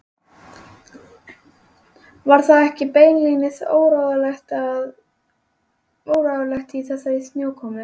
Var það ekki beinlínis óráðlegt í þessari snjókomu?